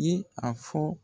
Ye a fɔ